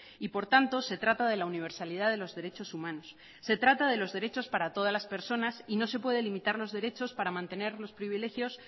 y por tanto se trata de la universalidad de los derechos humanos se trata de los derechos para todas las personas y no se puede limitar los derechos para mantener los privilegios